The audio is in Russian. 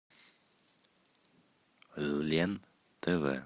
лен тв